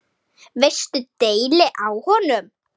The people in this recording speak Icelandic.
Veistu deili á honum?